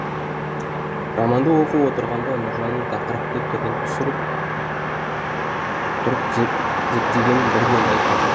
романды отырғанда нұржанның тақырыпты түбін түсіріп тұрып зерттегенін бірден байқадым